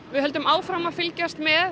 við höldum áfram að fylgjast með